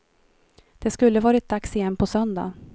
Det skulle varit dags igen på söndag.